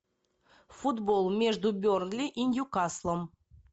футбол между бернли и ньюкаслом